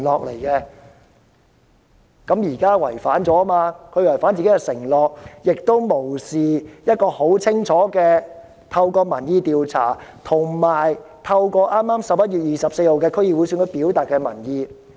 現在她違反了自己的承諾，亦無視市民透過民意調查及剛於11月24日舉行的區議會選舉清楚表達的民意。